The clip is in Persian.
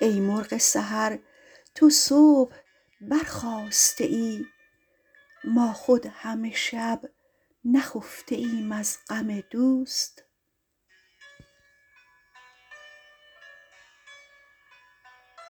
ای مرغ سحر تو صبح برخاسته ای ما خود همه شب نخفته ایم از غم دوست